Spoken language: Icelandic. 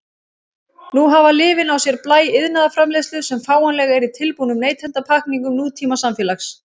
Nú hafa lyfin á sér blæ iðnaðarframleiðslu sem fáanleg er í tilbúnum neytendapakkningum nútímasamfélags.